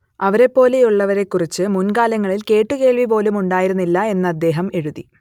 അവരെപ്പോലെയുള്ളവരെക്കുറിച്ച് മുൻകാലങ്ങളിൽ കേട്ടുകേൾവി പോലും ഉണ്ടായിരുന്നില്ല എന്ന് അദ്ദേഹം എഴുതി